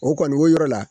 O kɔni o yɔrɔ la